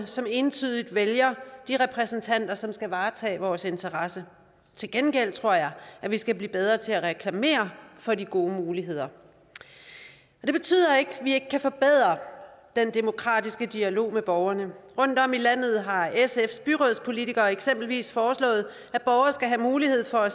som entydigt vælger de repræsentanter som skal varetage vores interesser til gengæld tror jeg at vi skal blive bedre til at reklamere for de gode muligheder det betyder ikke at vi ikke kan forbedre den demokratiske dialog med borgerne rundtom i landet har sfs byrådspolitikere eksempelvis foreslået at borgere skal have mulighed for at